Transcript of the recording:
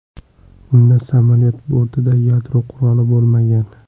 Unda samolyot bortida yadro quroli bo‘lmagan.